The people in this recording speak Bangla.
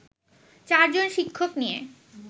চারজন শিক্ষক নিয়ে